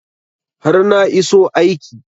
har na iso aiki